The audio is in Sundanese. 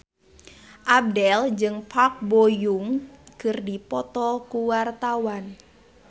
Abdel jeung Park Bo Yung keur dipoto ku wartawan